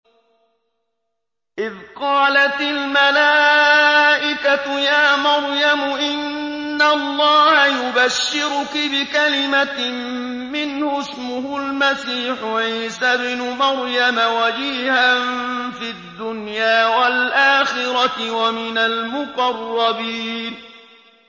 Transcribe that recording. إِذْ قَالَتِ الْمَلَائِكَةُ يَا مَرْيَمُ إِنَّ اللَّهَ يُبَشِّرُكِ بِكَلِمَةٍ مِّنْهُ اسْمُهُ الْمَسِيحُ عِيسَى ابْنُ مَرْيَمَ وَجِيهًا فِي الدُّنْيَا وَالْآخِرَةِ وَمِنَ الْمُقَرَّبِينَ